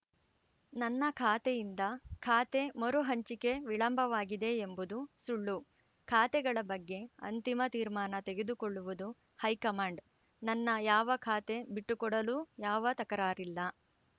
ನನ್ನ ಖಾತೆಯಿಂದ ಖಾತೆ ಮರು ಹಂಚಿಕೆ ವಿಳಂಬವಾಗಿದೆ ಎಂಬುದು ಸುಳ್ಳು ಖಾತೆಗಳ ಬಗ್ಗೆ ಅಂತಿಮ ತೀರ್ಮಾನ ತೆಗೆದುಕೊಳ್ಳುವುದು ಹೈಕಮಾಂಡ್‌ ನನ್ನ ಯಾವ ಖಾತೆ ಬಿಟ್ಟುಕೊಡಲೂ ಯಾವ ತಕರಾರಿಲ್ಲ